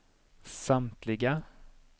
samtliga